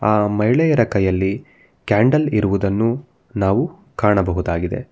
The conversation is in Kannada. ಆ ಮಹಿಳೆಯರ ಕೈಯಲ್ಲಿ ಕ್ಯಾಂಡಲ್ ಇರುವುದನ್ನು ನಾವು ಕಾಣಬಹುದಾಗಿದೆ.